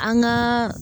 An gaa